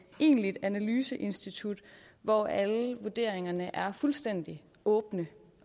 egentligt analyseinstitut hvor alle vurderingerne er fuldstændig åbne